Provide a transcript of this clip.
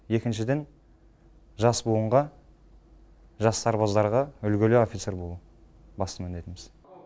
екіншіден жас буынға жас сарбаздарға үлгілі офицер болу басты міндетіміз